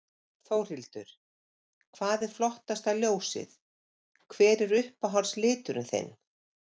Þórhildur: Hvað er flottasta ljósið, hver er uppáhalds liturinn þinn?